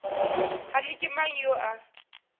kgane ke mang yo a